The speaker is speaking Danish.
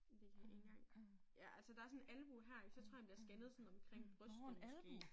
Men det kan jeg ikke engang. Ja altså der sådan en albue her ik så tror jeg han bliver scannet omkring brystet måske